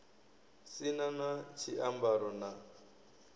si na na tshiambaro na